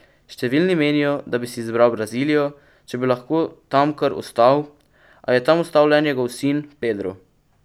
Številni menijo, da bi si izbral Brazilijo, če bi lahko tam kar ostal, a je tam ostal le njegov sin Pedro.